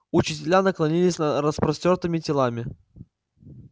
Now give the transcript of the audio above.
учителя наклонились над распростёртыми телами